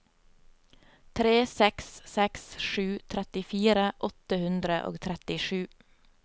tre seks seks sju trettifire åtte hundre og trettisju